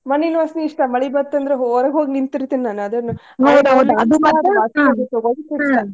ಮಣ್ಣಿನ ವಾಸನಿ ಇಷ್ಟ ಮಳಿ ಬಂತಂದ್ರ ಹೊರಗ್ ಹೋಗ್ ನಿಂತಿರ್ತೇನಿ